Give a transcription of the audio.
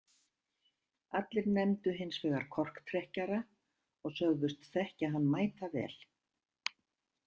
Allir nefndu hins vegar korktrekkjara og sögðust þekkja hann mætavel.